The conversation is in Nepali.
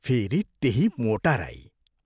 फेरि त्यही मोटा राई।